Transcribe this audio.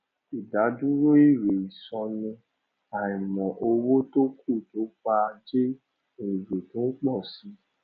ìdádúró èrè ìsọnù àìmọ owó tó kù tó pa jẹ èrè tó ń pọ si